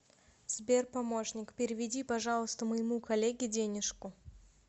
сбер помощник переведи пожалуйста моему коллеге денежку